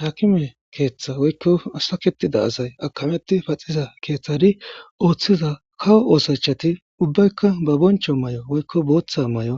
haakime keeththa woykko asaketida asay akameti paxiza keeththadi ooththiza kawo oosachati ubbaykka ba boncho may7o woykko booththa may7o